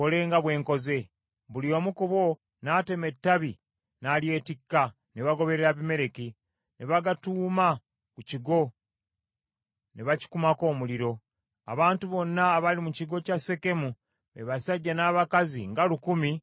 Buli omu ku bo n’atema ettabi n’alyetikka, ne bagoberera Abimereki. Ne bagatuuma ku kigo, ne bakikumako omuliro. Abantu bonna abaali mu kigo kya Sekemu, be basajja n’abakazi nga lukumi ne bafiiramu.